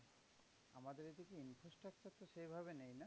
সেইভাবে নেই না?